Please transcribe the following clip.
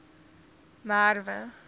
merwe